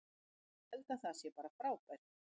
Ég held að það sé bara frábært.